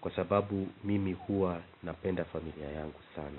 kwa sababu mimi huwa napenda familia yangu sana.